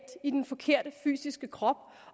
i den forkerte fysiske krop